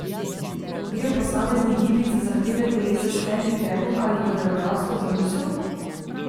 Gre v posameznih gibih za zahteve telesa s hendikepom ali koreografsko zamisel?